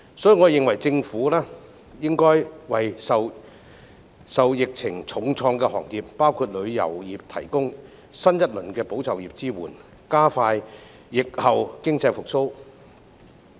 所以，我認為政府應為受疫情重創的行業，包括旅遊業提供新一輪"保就業"支援，加快疫後經濟復蘇。